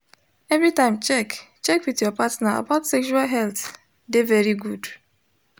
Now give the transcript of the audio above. everytime check check with your partner about sexual health de very good